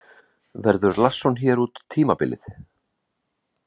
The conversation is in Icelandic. Verður Larsson hér út tímabilið?